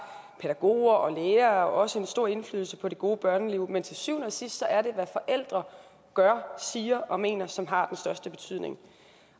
pædagoger og lærere også en stor indflydelse på det gode børneliv men til syvende og sidst er det hvad forældre gør siger og mener som har største betydning